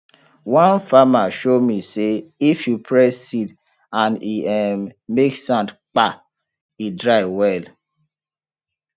one farmer show me say if you press seed and e um make soundkpa e dry well